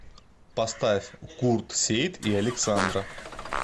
поставь курт сеит и александра